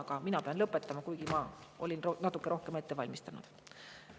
Aga mina pean lõpetama, kuigi ma olin natuke rohkem ette valmistanud.